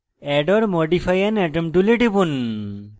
add or modify an atom tool টিপুন